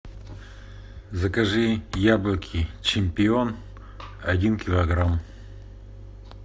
закажи яблоки чемпион один килограмм